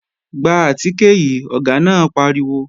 Gba àtìkè yìí, Ọ̀gá náà pariwo!